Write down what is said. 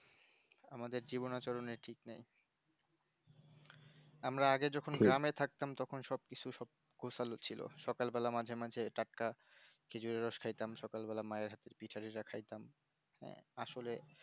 আমাদের জীবনে চরণের ঠিক নেই আমরা আগে যখন গ্রামে থাকতাম তখন সবকিছু তখন সবকিছু কুশল ছিল সকাল বেলা মাঝেমাঝে টাটকা খেজুর রস খাইতাম সকাল বেলায় মায়ের হাতে পিঠা পিঠা খাইতাম আসলে